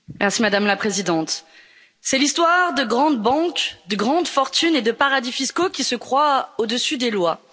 Madame la Présidente, c'est l'histoire de grandes banques, de grandes fortunes et de paradis fiscaux qui se croient au dessus des lois.